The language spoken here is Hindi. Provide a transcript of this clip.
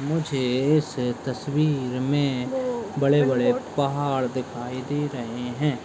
मुझे इस तस्वीर में बड़े-बड़े पहाड़ दिखाई रहे हैं